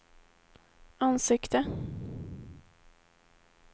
ansikte